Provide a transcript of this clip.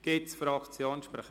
Gibt es Fraktionssprecher?